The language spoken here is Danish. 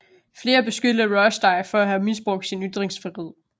Flere beskyldte Rushdie for at have misbrugt sin ytringsfrihed